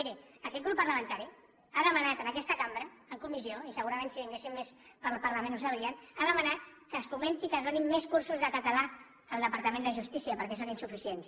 miri aquest grup parlamentari ha demanat en aquesta cambra en comissió i segurament si vinguessin més pel parlament ho sabrien ha demanat que es fomentin que es donin més cursos de català al departament de justícia perquè són insuficients